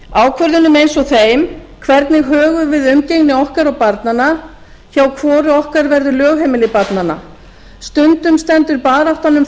ákvörðunum eins og þeim hvernig högum við umgengni okkar og barnanna hjá hvoru okkar verður lögheimili barnanna stundum stendur baráttan um